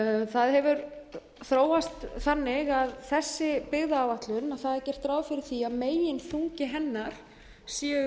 það hefur þróast þannig að þessi byggðaáætlun það er gert ráð fyrir því að meginþungi hennar séu